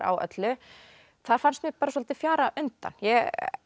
öllu þar fannst mér svolítið fjara undan ég